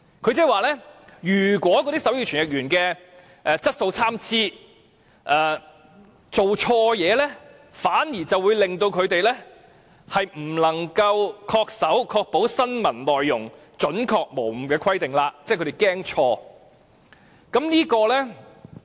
它的意思是，如果手語傳譯員的質素參差，傳譯錯誤，反而會令持牌人不能恪守要確保新聞內容準確無誤的規定，即電視台害怕出錯。